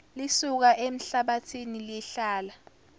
lisuka emhlabathini lihlala